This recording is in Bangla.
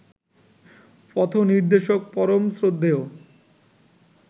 পথনির্দেশক পরম শ্রদ্ধেয়